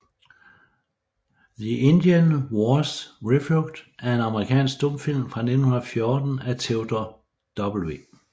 The Indian Wars Refought er en amerikansk stumfilm fra 1914 af Theodore W